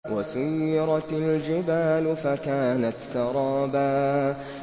وَسُيِّرَتِ الْجِبَالُ فَكَانَتْ سَرَابًا